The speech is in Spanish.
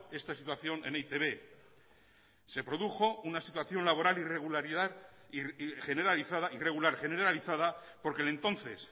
esta situación el e i te be se produjo una situación laboral irregular y generalizada porque el entonces